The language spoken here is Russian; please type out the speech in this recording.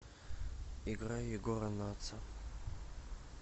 играй егора натса